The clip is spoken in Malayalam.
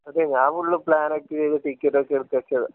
ഞാൻ ഫുൾ പ്ലാനെല്ലാം ചെയ്ത ടിക്കറ്റ് ഒക്കെ എടുത്ത് വെച്ചതാ